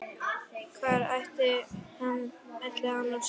Hvar ætli hann sofi?